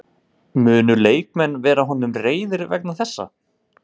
Munu leikmenn vera honum reiðir vegna þessa?